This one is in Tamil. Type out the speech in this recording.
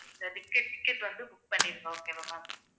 இந்த ticke~ ticket வந்து book பண்ணிருங்க okay வா ma'am